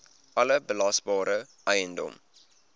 alle belasbare eiendom